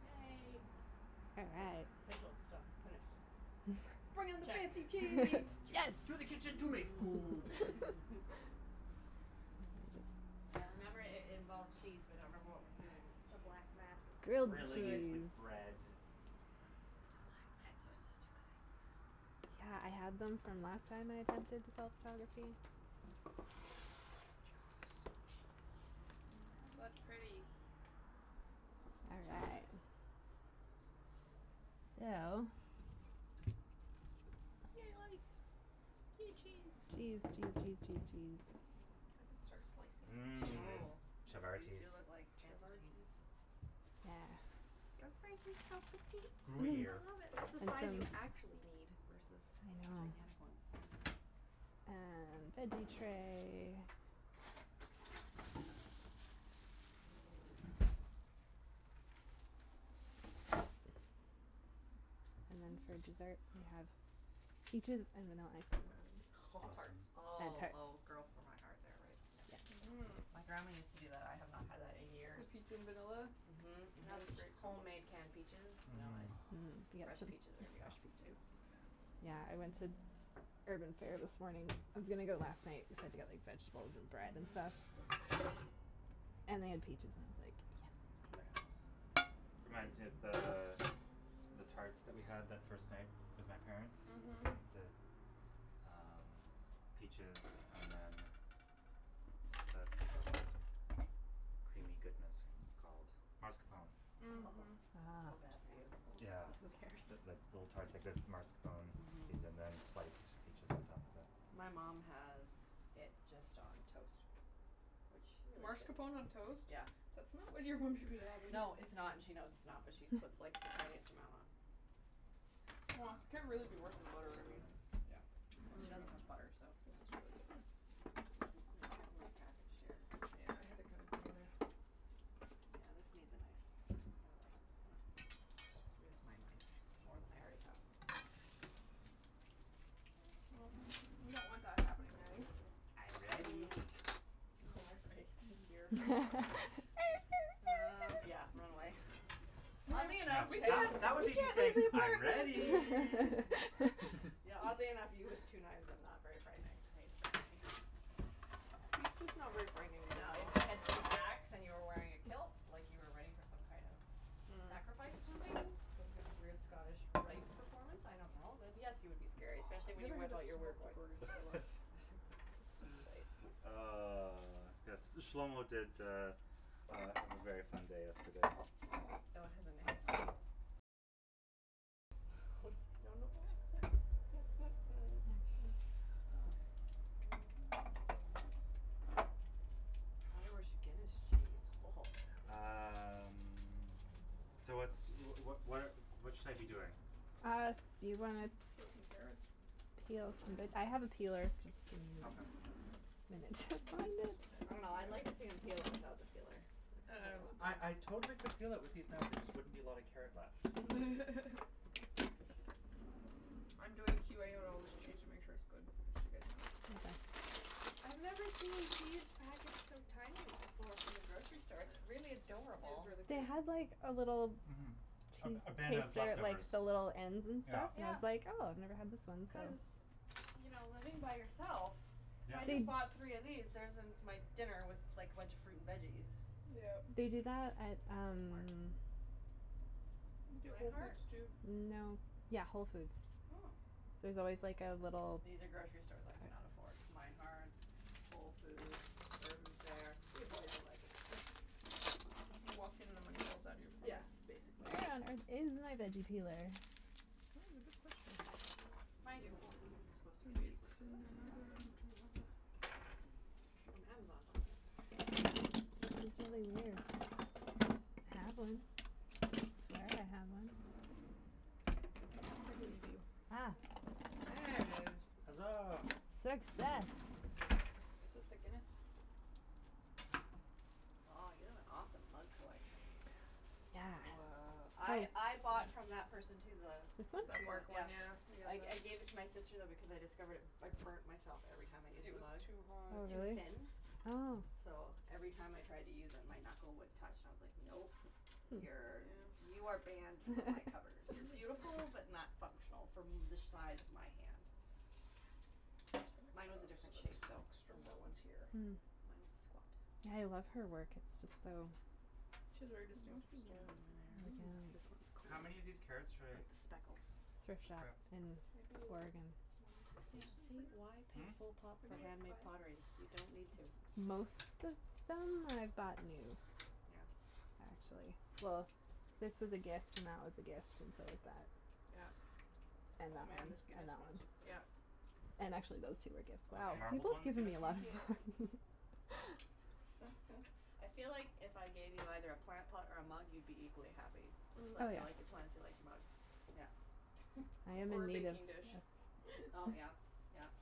Yay Official stuff, finish Bring on the Check. fancy Cheese. cheese. To the kitchen to make food I remember it it involved cheese but I don't remember what we're doing with the The cheese. black mats look so Grilled Grilling good. it with cheese! bread The black Excellent. mats are such a good Yeah, I idea. had Yeah. them from last time I attempted to self photography What pretties All right So Yay lights Yay cheese Cheese cheese cheese cheese cheese I could start slicing some cheeses. Mmm Oh chavatis feel it like fancy cheese Chavatis Yeah. I Gruyere love it. That's the size you actually need Versus I know gigantic one. Um, veggie tray And then for dessert we have, peaches, and vanilla ice cream. Home tarts. Awesome. Oh oh girl for my heart there right. Yeah, yeah. Mmm My grandma used to do that. I have not had that in years. peach in vanilla? Mhm Yeah, mhm it's a great homemade canned peaches, vanilla Mhm. ice cream. Fresh peaches are gonna be awesome too Yeah, I went to Urban Fare this morning, I was gonna go last night cuz I had to get like vegetables and bread and Mhm stuff And they had peaches and I was like, yes Very nice. Reminds me of the, the tarts that we had that first night, with my parents. Mhm The, um, peaches and then, what's that, creamy goodness called, mascarpone Mhm so bad for you Yeah Oh who cares That's like little tarts like that with mascarpone cheese and Mhm then sliced peaches on top of it My mom has it just on toast. Which she really shouldn't Marscapone on toast? Yeah. That's not what your mom should be having. No, it's not and she knows it's not but she puts like the tiniest amount on Wha, can't really be worse than butter I mean Yeah, well she doesn't have butter, so This is like heavily packaged here Yeah, I had to kinda dig in there Yeah, this needs a knife. Otherwise I'm just gonna lose my mind, more than I already have. we don't want that happening, Natty. I'm ready. Mm. Oh Oh, great oh, dear Uh, yeah, run away Oddly No enough that that would me just saying, "I'm ready" Yeah oddly enough, you with two knives is not very frightening He's just not very frightening in No, if general. you had two axe and you were wearing a kilt like you were ready for some kind of Mm sacrifice or something, some kind of weird Scottish rite performance, I don't know, then yes you would be scary. Especially We when haven't had a smoked in a while Ah, yes, this Shlomo did uh uh have a very fun day yesterday. Fellow has a name? Oh No accents jeez Um Irish Guinness cheese ho ho Um, so what's, wh- wh- what what should I be doing? Uh, you gonna Um, peel some carrots? peel some- I have a peeler. Okay. I don't know, I'd like to see him peel it without the peeler. Like how that Uh would I I go totally could peel it with these knives there just wouldn't be a lot of carrot left. I'm doing Q A on all this cheese to make sure it's good just so you guys know. Okay I've never seen cheese packaged so tinily before from the grocery store, it's really It is adorable. really They cute. had like a little Mhm A cheese a bin of taster at like leftovers the little ends and Yeah. stuff I Yeah. was like oh I've never had this ones so Cuz, you know living by yourself Yeah. I just bought three of these, there's it's my dinner, was like a bunch of fruit and veggies. Yeah. They do that at um Where? Do at Whole Meinhardts? Foods too No. Yeah, Whole Foods. Oh. There's always like a little These are grocery stores I can not afford. Meinhardts, Whole Foods, Urban Fare. We avoid them like the plague. You walk in and the money falls out of your Yeah pocket basically Where on earth is my veggie peeler? That is a good question Mind you Whole Foods is supposed to get cheaper It's So that should in be awesome another drawer. From Amazon buying it That's really weird, had one, swear I had one I believe you. Ah There it is. Hazaa! Success! Is this the Guinness? Aw you have an awesome mug collection. Yeah. I I bought from that person too the This one? the the tree one, work one yeah. yeah I I gave it to my sister though because I discovered it, I burnt myself every time I used It the was mug, too it hot. was Oh too really? thin Oh So, every time I tried to use it my knuckle would touch and I was like, nope, you're Yeah you are banned from my cupboard, you're beautiful but not functional from the size of my hand. Mine was a different shape though, from that one. Mm. Yeah I love her work, it's just so She has a very distinctive style this one's cool, How many of these carrots should I like the speckles Thrift shop grab? and Maybe like, bargain one per Yeah person for see, why now. pay Hmm? full pop for Maybe like handmade five. pottery, you don't need to Most of them I bought new, Yeah actually Well, this was a gift and that was a gift and so was that. Yeah And Oh that man one this and Guinness that one one is Yeah And actually those two were gift Oh Oh is the sorry marbled people have one the given me a Guinness lot one? of Yeah mugs I feel like if I gave you either a plant pot or a mug you'd be equally happy. Mm It's like Oh you yeah like the plants you like the mugs. Yeah I am Or in a need of baking dish Oh yeah, yeah,